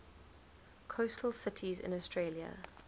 coastal cities in australia